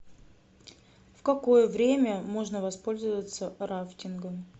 в какое время можно воспользоваться рафтингом